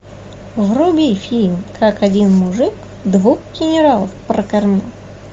вруби фильм как один мужик двух генералов прокормил